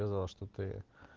сказал что ты